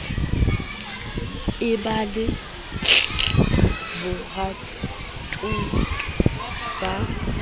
e ba ya borathuto ba